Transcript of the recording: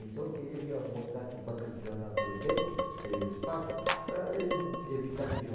Então, queria que eu montasse banca de jornal naquele beco, naquele espaço, para es evitar de